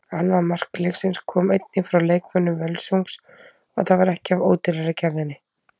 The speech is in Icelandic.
Annað mark leiksins kom einnig frá leikmönnum Völsungs og það var ekki af ódýrari gerðinni.